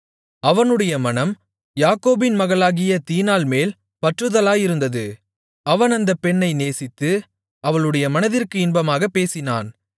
அவனுடைய மனம் யாக்கோபின் மகளாகிய தீனாள்மேல் பற்றுதலாயிருந்தது அவன் அந்தப் பெண்ணை நேசித்து அவளுடைய மனதிற்கு இன்பமாகப் பேசினான்